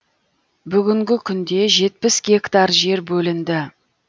бүгінгі күнде жетпіс гектар жер бөлінді